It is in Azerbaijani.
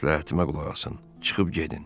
Məsləhətimə qulaq asın, çıxıb gedin.